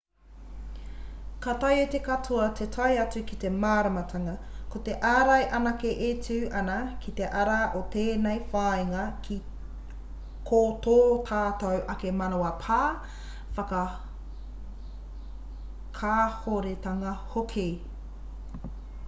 ka taea e te katoa te tae atu ki te māramatanga ko te ārai anake e tū ana ki te ara o tēnei whāinga ko tō tātou ake manawa pā whakakāhoretanga hoki